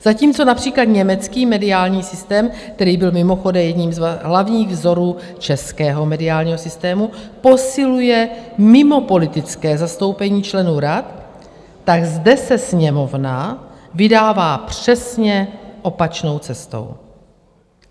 Zatímco například německý mediální systém, který byl mimochodem jedním z hlavních vzorů českého mediálního systému, posiluje mimopolitické zastoupení členů rad, tak zde se Sněmovna vydává přesně opačnou cestou.